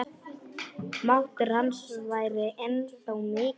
Máttur hans væri ennþá mikill.